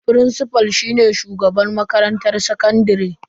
Firincifal shine shugaban makarantar sakandare.